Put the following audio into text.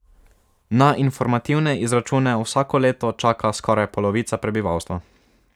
Na informativne izračune vsako leto čaka skoraj polovica prebivalstva.